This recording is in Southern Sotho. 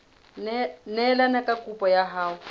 neelane ka kopo ya hao